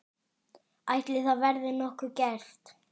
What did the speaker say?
Ætli það verði nokkuð gert?